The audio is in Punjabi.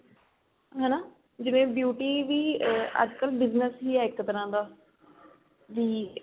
ਹਨਾ ਜਿਵੇਂ beauty ਵੀ ਆ ਅੱਜਕਲ business ਈ ਏ ਇੱਕ ਤਰਾਂ ਦਾ ਵੀ